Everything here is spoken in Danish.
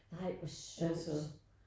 Nej hvor sjovt